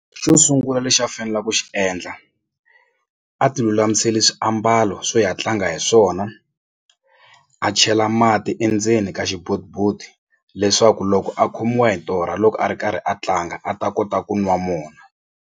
Xo sungula lexi a fanela ku xi endla a ti lulamiseli swiambalo swo ya tlanga hi swona a chela mati endzeni ka leswaku loko a khomiwa hi torha loko a ri karhi a tlanga a ta kota ku nwa mona.